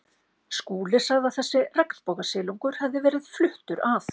Skúli sagði að þessi regnbogasilungur hefði verið fluttur að